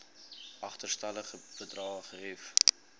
agterstallige bedrae gehef